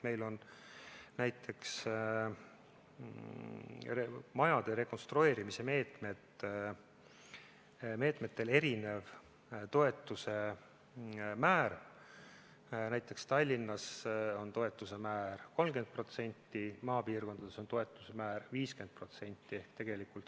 Meil on näiteks majade rekonstrueerimise meetmetel erinev toetuse määr, Tallinnas on toetuse määr 30%, maapiirkondades on see määr 50%.